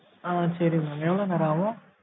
ஆ sorry mam எவ்வளோ நேரம் ஆகும்?